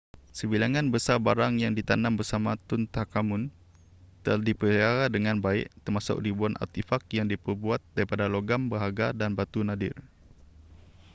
sebilangan besar barang yang ditanam bersama tutankhamun telah dipelihara dengan baik termasuk ribuan artifak yang diperbuat daripada logam berharga dan batu nadir